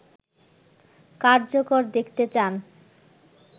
কার্যকর দেখতে চান